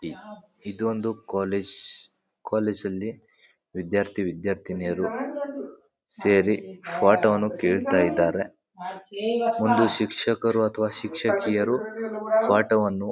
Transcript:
ಯಾಬ್ ಇದೊಂದು college . College ಅಲ್ಲಿ ವಿದ್ಯಾರ್ಥಿ-ವಿದ್ಯಾರ್ಥಿನಿಯರು ಸೇರಿ ಪಾಠವನ್ನು ಕೇಳುತ್ತಾ ಇದ್ದಾರೆ. ಒಂದು ಶಿಕ್ಷಕರು ಅಥವಾ ಶಿಕ್ಷಕಿಯರು ಪಾಠವನ್ನು --